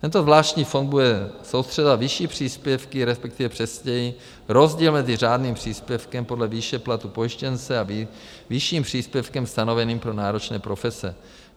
Tento zvláštní fond bude soustřeďovat vyšší příspěvky, respektive přesněji rozdíl mezi řádným příspěvkem podle výše platu pojištěnce a vyšším příspěvkem stanoveným pro náročné profese.